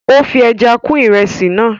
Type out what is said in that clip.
ó fi ẹja kún ìrẹsì náà